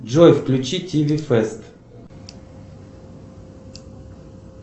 джой включи тиви фест